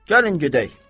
Gəlin gedək.